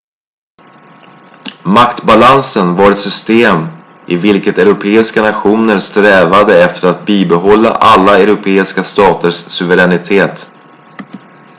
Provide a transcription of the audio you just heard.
maktbalansen var ett system i vilket europeiska nationer strävade efter att bibehålla alla europeiska staters suveränitet